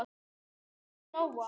Reynir og Lóa.